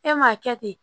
E m'a kɛ ten